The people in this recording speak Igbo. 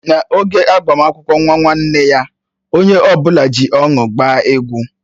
N'oge agbamakwụkwọ nwa nwanne nna ya, onye ọbụla ji ọṅụ gbaa egwu.